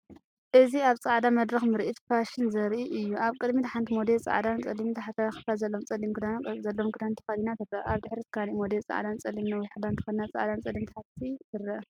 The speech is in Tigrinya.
እዚ ኣብ ጻዕዳ መድረክ ምርኢት ፋሽን ዘርኢ እዩ። ኣብ ቅድሚት ሓንቲ ሞዴል፡ጻዕዳን ጸሊምን ታሕተዋይ ክፋል ዘለዎ ጸሊም ክዳንን ቅርጺ ዘለዎ ክዳን ተኸዲና ትረአ። ኣብ ድሕሪት ካልእ ሞዴል ጻዕዳን ጸሊምን ነዊሕ ክዳን ተኸዲና ጻዕዳን ጸሊምን ታሕቲ ትረአ።